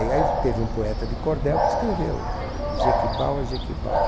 E aí v teve um poeta de Cordel que escreveu Jequibau é Jequibau.